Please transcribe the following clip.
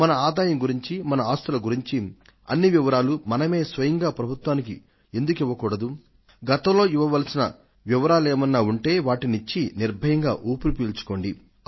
మన ఆదాయం గురించి మన ఆస్తుల గురించి అన్ని వివరాలు మనమే స్వయంగా ప్రభుత్వానికి ఎందుకు ఇవ్వకూడదు గతంలో ఇవ్వవలసిన వివరాలేమన్నా ఉంటే వాటిని ఇచ్చి నిర్భయంగా ఊపిరి పీల్చుకోండి